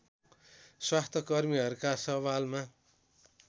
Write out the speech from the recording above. स्वास्थ्यकर्मीहरूका सवालमा